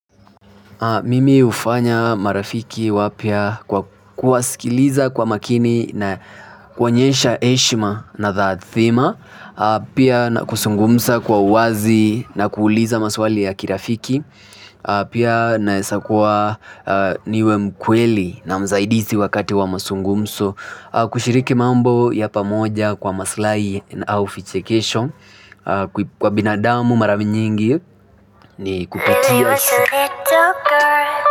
Mimi hufanya marafiki wapya kwa kuwasikiliza kwa makini na kuonyesha heshima na taadhima pia na kuzungumza kwa uwazi na kuuliza maswali ya kirafiki pia naesa kuwa niwe mkweli na msaidizi wakati wa mazungumzo kushiriki mambo ya pamoja kwa maslahi au vichekesho kwa binadamu mara nyingi ni kupatia.